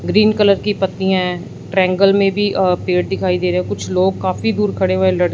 green colour की पत्ती है ट्रायंगल में भी अ पेड़ दिखाई दे रे हैं कुछ लोग काफी दूर खड़े हुए लड़--